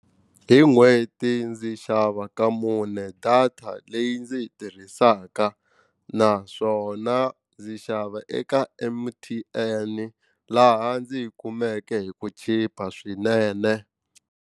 Hi n'hweti ndzi xava ka mune data leyi ndzi yi tirhisaka naswona ndzi xava eka M_T_N laha ndzi yi kumeke hi ku chipa swinene.